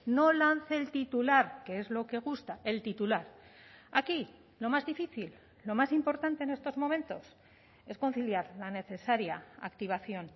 no lance el titular que es lo que gusta el titular aquí lo más difícil lo más importante en estos momentos es conciliar la necesaria activación